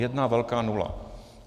Jedna velká nula.